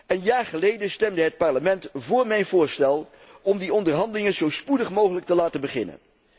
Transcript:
Een jaar geleden stemde het Parlement voor mijn voorstel om die onderhandelingen zo spoedig mogelijk te laten beginnen.